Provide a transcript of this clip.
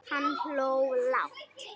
Hann hló lágt.